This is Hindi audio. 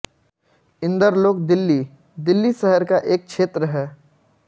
इंदरलोक दिल्ली दिल्ली शहर का एक क्षेत्र है